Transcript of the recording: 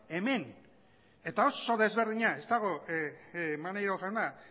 hemen eta oso desberdina ez dago maneiro jauna